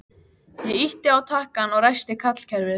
Ég ýtti á takkann og ræsti kallkerfið.